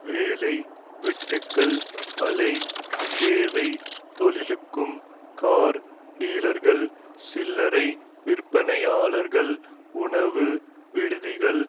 வேலை வெட்டுக்கள் அலை சேவைத் தொழிலுக்கும் கார் டீலர்கள் சில்லறை விற்பனையாளர்கள் உணவு விடுதிகள்